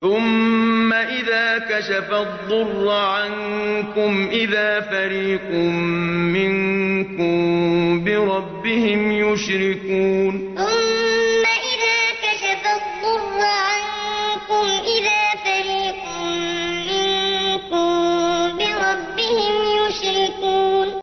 ثُمَّ إِذَا كَشَفَ الضُّرَّ عَنكُمْ إِذَا فَرِيقٌ مِّنكُم بِرَبِّهِمْ يُشْرِكُونَ ثُمَّ إِذَا كَشَفَ الضُّرَّ عَنكُمْ إِذَا فَرِيقٌ مِّنكُم بِرَبِّهِمْ يُشْرِكُونَ